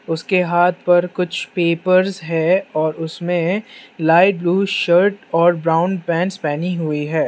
उसके हाथ पर कुछ पेपर्स हैं और उसमें लाइट ब्ल्यू शर्ट और ब्राउन पैंट्स पहनी हुई हैं।